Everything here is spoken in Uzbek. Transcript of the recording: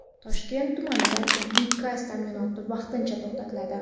Toshkent tumanida tabiiy gaz ta’minoti vaqtincha to‘xtatiladi.